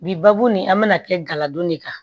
Bi babu nin an bɛna kɛ galadon de kan